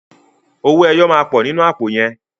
Owó ẹyọ máa pọ̀ nínú àpò yẹn.